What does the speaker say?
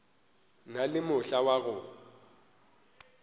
na le mohla wa go